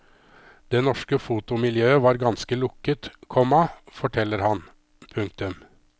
Det norske fotomiljøet var ganske lukket, komma forteller han. punktum